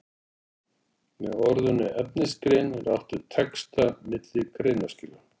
Með orðinu efnisgrein er átt við texta milli greinaskila.